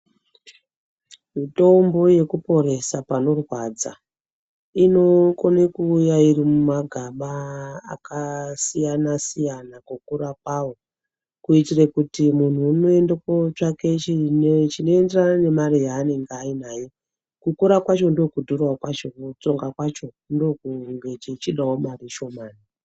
Mitombo yekuporesa panorwadza inogone kuuya iri mumagaba akasiyana-siyana kukura kwawo kuitira kuti muntu unoenda kunotsvake chinoenderane nemari yaanenge ainayo kukura kwacho ndiko kudhura kwacho nekutsonga kwacho ndokunge chichidawo mari shomana.